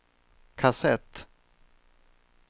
kassett